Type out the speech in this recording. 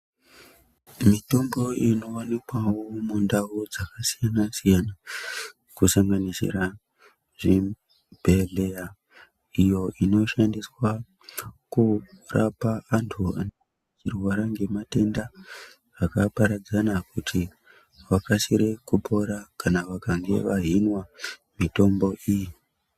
Mitombo inowanikwawo mundau dzakasiyana siyana kusanganisira zvibhedhleya iyoo inoshandiswa kurapa antu anenge achirwara ngematenda akaparadzana kuti vakasire kupora kana vakange vahinwa mitombo iyi.